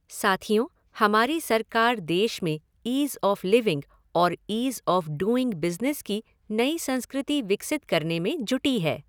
साथियों, हमारी सरकार देश में ईज़ ऑफ़ लिविंग और ईज़ ऑफ़ डूइंग बिज़नेस की नई संस्कृति विकसित करने में जुटी है।